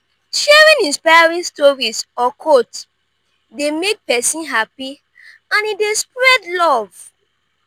sharing inspiring stories or quotes dey make pesin happy and e dey spread love.